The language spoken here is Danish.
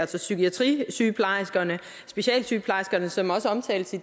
til psykiatrisygeplejerske specialsygeplejerske som også omtales i